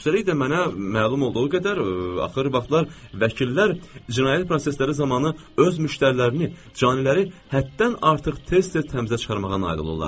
Üstəlik də mənə məlum olduğu qədər axır vaxtlar vəkillər cinayət prosesləri zamanı öz müştərilərini, caniləri həddən artıq tez-tez təmizə çıxarmağa nail olurlar.